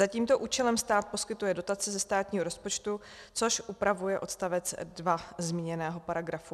Za tímto účelem stát poskytuje dotace ze státního rozpočtu, což upravuje odstavec 2 zmíněného paragrafu.